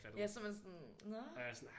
Ja så er man sådan nå